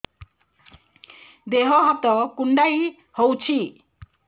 ଦେହ ହାତ କୁଣ୍ଡାଇ ହଉଛି